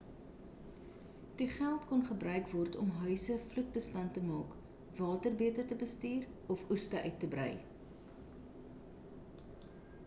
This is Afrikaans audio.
die geld kon gebruik word om huise vloed-bestand te maak water beter te bestuur of oeste uit te brei